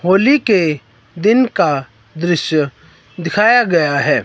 होली के दिन का दृश्य दिखाया गया है।